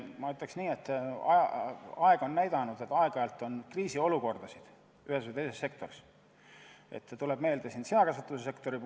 Ma ütleks nii, et aeg on näidanud, et aeg-ajalt on ühes või teises sektoris kriisiolukordi.